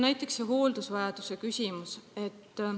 Näiteks hooldusvajaduse küsimusest.